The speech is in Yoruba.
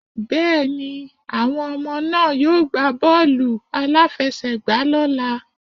Bẹ́ẹ̀ni, àwọn ọmọ náà yóò gbá bọ́ọ̀lù-aláfẹ́sẹ̀gbà lọ́ la.